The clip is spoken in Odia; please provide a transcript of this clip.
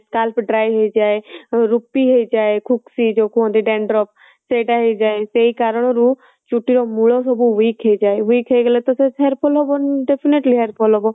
scarf dry ହେଇଯାଏ, ରୁପି ହେଇଯାଏ ସେଇ ଯୋଉ କହନ୍ତି dandruff ସେଇଟା ହେଇଯାଏ ସେଇ କାରଣ ରୁ ଚୁଟି ର ମୂଳ ସବୁ weak ହେଇଯାଏ weak ହେଇଗଲେ ତ hair fall ହବ definitely hair fall ହବ